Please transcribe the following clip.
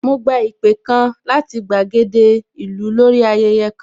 Mo gba ìpè kan láti gbàgede ìlú lórí ayẹyẹ kan